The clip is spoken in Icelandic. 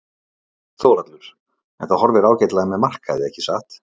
Þórhallur: En það horfir ágætlega með markaði ekki satt?